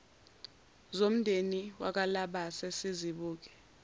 zomndeni wakwalabase sizibuke